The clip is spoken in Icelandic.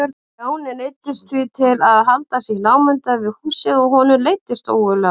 Stjáni neyddist því til að halda sig í námunda við húsið og honum leiddist ógurlega.